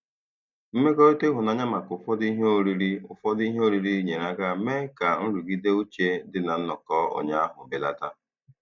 Mmekọrịta ịhụnanya maka ụfọdụ ihe oriri ụfọdụ ihe oriri nyere aka mee ka nrụgide uche dị na nnọkọ ụnyaahụ belata.